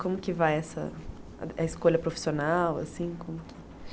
Como que vai essa a escolha profissional assim como que?